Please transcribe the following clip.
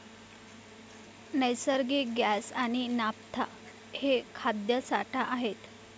नैसर्गिक गॅस आणि नाफ्था हे खाद्य साठा आहेत.